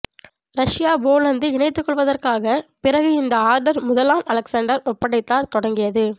Russia Poland இணைத்துக் கொள்வதற்காக பிறகு இந்த ஆர்டர் முதலாம் அலெக்சாண்டர் ஒப்படைத்தார் தொடங்கியது